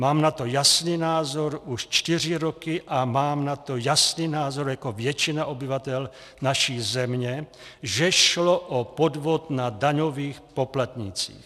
Mám na to jasný názor už čtyři roky a mám na to jasný názor jako většina obyvatel naší země, že šlo o podvod na daňových poplatnících.